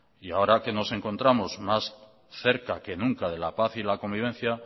y ahora que nos encontramos más cerca que nunca de la paz y la convivencia